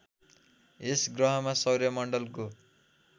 यस गह्रमा सौर्यमण्डलको